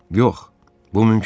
Yox, bu mümkün deyil.